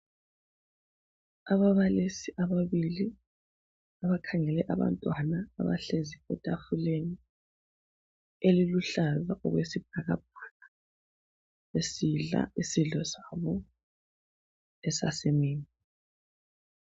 Ababalisi ababili abakhangele abantwana abahlezi etafuleni eliluhlaza okwesibhakabhaka besidla isidlo sabo esasemini.